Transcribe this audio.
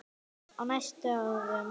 Gunnar: Á næstu árum?